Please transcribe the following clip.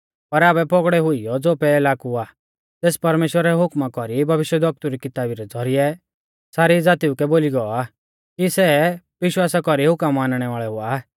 पर आबै पौगड़ै हुइयौ ज़ो पैहला कु आ तेस परमेश्‍वरा रै हुकमा कौरी भविष्यवक्तु री किताबी रै ज़ौरिऐ सारी ज़ातीऊ कै बोली गौ आ कि सै विश्वासा कौरी हुकम मानणै वाल़ै हुआ